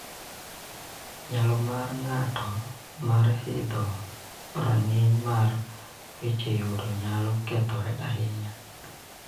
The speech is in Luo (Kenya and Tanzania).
Nyalo mar ng�ato mar idho rang�iny mar weche yuto nyalo kethore ahinya